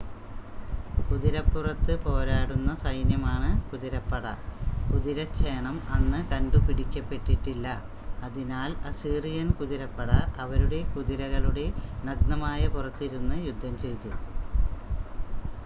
കുതിരപ്പുറത്ത് പോരാടുന്ന സൈന്യമാണ് കുതിരപ്പട കുതിരച്ചേണം അന്ന് കണ്ടുപിടിക്കപ്പെട്ടിട്ടില്ല അതിനാൽ അസീറിയൻ കുതിരപ്പട അവരുടെ കുതിരകളുടെ നഗ്നമായ പുറത്ത് ഇരുന്ന് യുദ്ധം ചെയ്തു